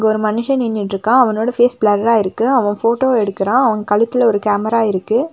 ஒரு மனுஷ நின்னுட்ருக்கா அவனோட ஃபேஸ் ப்ளர்ரா இருக்கு அவன் ஃபோட்டோ எடுக்குரா அவன் கழுத்துல ஒரு கேமரா இருக்கு.